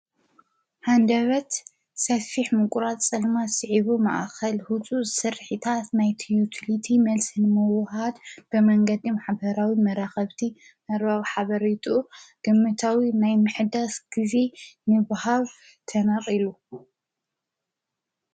ሓንደበት ሰፊሕ ምቁራት ጸልማት ስዒቡ መኣኸል ሁቱ ሠርሒታት ናይቲዩትልቲ መልስን መውሃድ ብመንገዲ ምሓበራዊ መራኸብቲ መርባቕ ሓበሪጡ ግምታዊ ናይ ምሕዳስ ጊዜ ንብሃብ ተነር ኢሉ